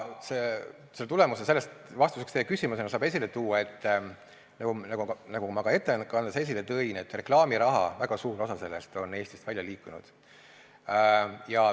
Sellest saab vastuseks teie küsimusele esile tuua, nagu ma ka ettekandes välja tõin, et väga suur osa reklaamirahast on Eestist välja liikunud.